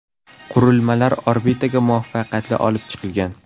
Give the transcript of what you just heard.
Qurilmalar orbitaga muvaffaqiyatli olib chiqilgan.